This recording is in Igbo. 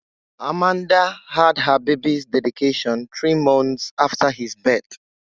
Amanda had her baby's dedication three months after his birth.